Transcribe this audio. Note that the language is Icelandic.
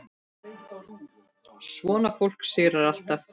Svona fólk sigrar alltaf.